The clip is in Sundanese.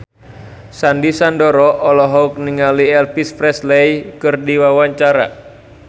Sandy Sandoro olohok ningali Elvis Presley keur diwawancara